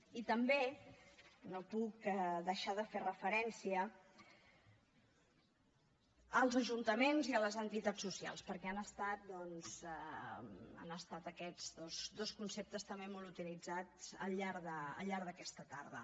i també no puc deixar de fer referència als ajuntaments i a les entitats socials perquè han estat aquests dos conceptes també molt utilitzats al llarg d’aquesta tarda